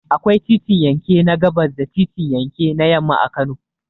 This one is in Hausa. Akwai titin yanke na gabas da titin yake na yamma a Kano.